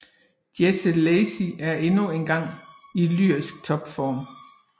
Jesse Lacey er endnu engang i lyrisk topform